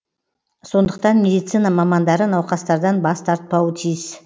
сондықтан медицина мамандары науқастардан бас тартпауы тиіс